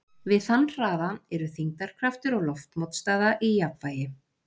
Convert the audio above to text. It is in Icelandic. Við þann hraða eru þyngdarkraftur og loftmótstaða í jafnvægi.